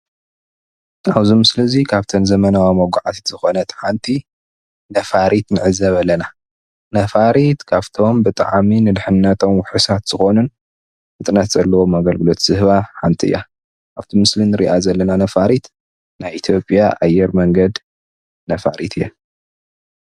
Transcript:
አብዚ ምስሊ እዚ ካብ ዘመናዊ መጋዓዝያ ሓደ ኮይኑ ሓንቲ ነፋሪት ንዕዘብ አለና ካብቶም ንድሕንነትና ወሰንቲ ዝኾኑን ፈጣን አገልግሎት ዝህባ ሓንቲ እያ